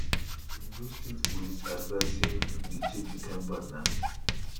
ondo state police advise say make pipo dey check di kain partner